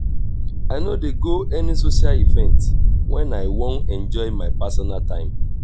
i no dey go any social event wen i wan enjoy my personal time.